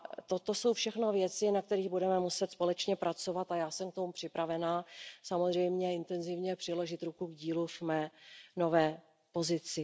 Toto jsou všechno věci, na kterých budeme muset společně pracovat, a já jsem připravena samozřejmě intenzivně přiložit ruku k dílu v mé nové pozici.